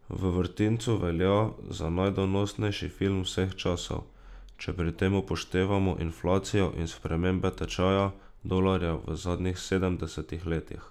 V vrtincu velja za najdonosnejši film vseh časov, če pri tem upoštevamo inflacijo in spremembe tečaja dolarja v zadnjih sedemdesetih letih.